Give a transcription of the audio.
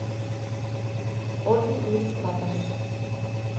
ольги елистратовой